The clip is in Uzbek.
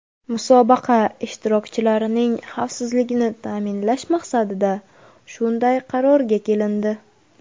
Musobaqa ishtirokchilarining xavfsizligini ta’minlash maqsadida shunday qarorga kelindi.